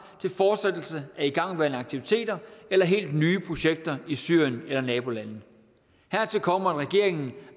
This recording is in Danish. til fortsættelse af igangværende aktiviteter eller helt nye projekter i syrien eller nabolandene hertil kommer at regeringen